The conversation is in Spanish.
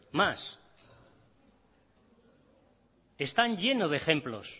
están llenos de ejemplos